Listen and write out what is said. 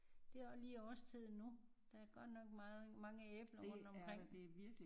Det er også lige årstiden nu. Der er godt nok mange æbler rundt omkring